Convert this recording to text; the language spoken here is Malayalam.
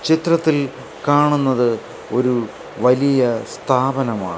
ചിത്രത്തിൽ കാണുന്നതു ഒരു വലിയ സ്ഥാപനമാണ്.